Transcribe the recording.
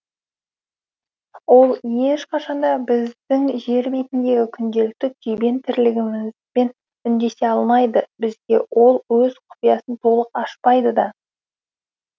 ол ешқашан да біздің жер бетіндегі күнделікті күйбең тірлігімізбен үндесе алмайды бізге ол өз құпиясын толық ашпайды да